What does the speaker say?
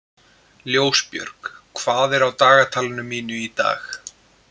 Ljósbjörg, hvað er á dagatalinu mínu í dag?